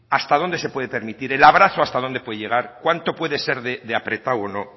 hasta dónde se puede permitir el abrazo hasta dónde puede llegar cuánto puede ser de apretado o no